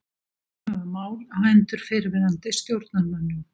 Íhuga mál á hendur fyrrverandi stjórnarmönnum